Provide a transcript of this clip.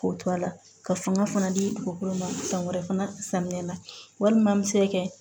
K'o to a la ka fanga fana di dugukolo ma san wɛrɛ fana sanni na walima an bɛ se kɛ